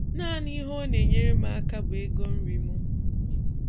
Naanị ihe ọ na-enyere m aka bụ ego nri m.